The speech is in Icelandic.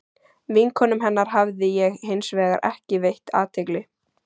Vinkonum hennar hafði ég hins vegar ekki veitt athygli.